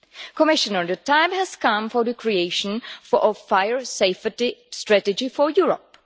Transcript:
Commissioner, the time has come for the creation of a fire safety strategy for Europe.